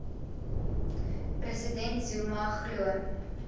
president zuma glo